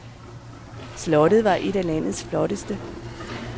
Slottet var et af landets flotteste.